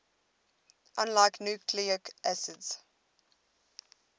unlike nucleic acids